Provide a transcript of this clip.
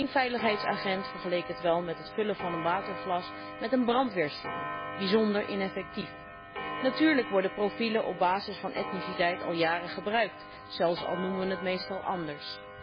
Een veiligheidsagent vergeleek het wel met het vullen van een waterglas met een brandweerslang, bijzonder ineffectief. Natuurlijk worden profielen op basis van etnische afstamming al jaren gebruikt, zelfs al noemen wij het meestal anders.